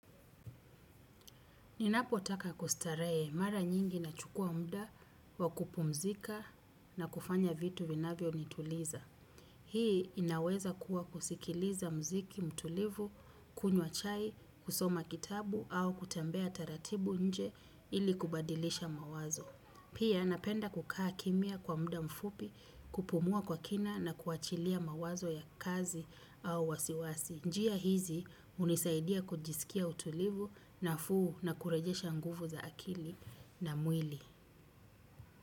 Ninapo taka kustarehe mara nyingi na chukuwa muda wa kupumzika na kufanya vitu vinavyo nituliza. Hii inaweza kuwa kusikiliza muziki, mtulivu, kunywa chai, kusoma kitabu au kutembea taratibu inje ili kubadilisha mawazo. Pia napenda kukaaa kimya kwa muda mfupi kupumua kwa kina na kuwachilia mawazo ya kazi au wasiwasi. Njia hizi hunisaidia kujisikia utulivu nafuu na kurejesha nguvu za akili na mwili.